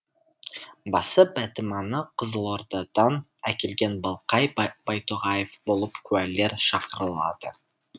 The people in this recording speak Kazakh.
басы бәтиманы қызылордадан әкелген балқай байтоғаев болып куәлер шақырылады